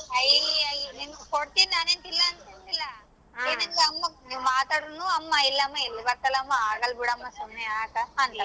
I ಕೊಡ್ತೀನಿ ನಾನೇನ್ ಇಲ್ಲ ಅಂತಿಲ್ಲ ಏನಿದ್ರೂ ಅಮ್ಮ ನೀವ್ ಮಾತಾಡಿದರುನು ಅಮ್ಮ ಇಲ್ಲಮ್ಮ ಆಗಾಲಬಿಡಮ್ಮ ಸುಮ್ನೆ ಯಾಕ .